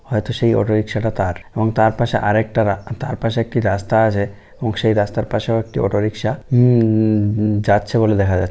হয়তো সেই auto rickshaw টা তার। এবং তার পাশে আর একটা রা । তার পাশে একটি রাস্তা আছে এবং সেই রাস্তার পাশে ওএকটি অটো রিক্সা হুম -উম- হুম যাচ্ছে বলে দেখা যা--